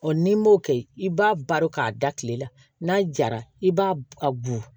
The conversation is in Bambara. n'i m'o kɛ i b'a baro k'a da kile la n'a jara i b'a a bu